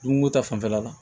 Dumuni ko ta fanfɛla la